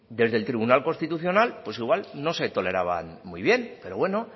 desde el tribunal constitucional pues igual no se toleraban muy bien pero bueno